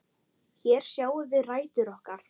Hér sjáum við rætur okkar.